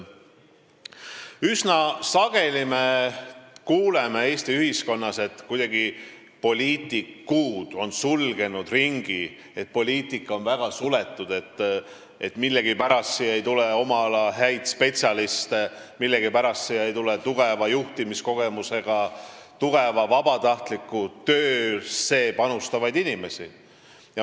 Üsna sageli me kuuleme Eesti ühiskonnas, et poliitikud on kuidagi sulgenud ringi, poliitika on väga suletud, millegipärast ei tule poliitikasse oma ala häid spetsialiste, tugeva juhtimiskogemusega, tugeva vabatahtliku töö panusega inimesi.